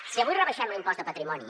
si avui rebaixem l’impost de patrimoni